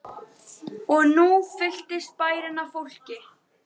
Og nú fylltist bærinn af fólki.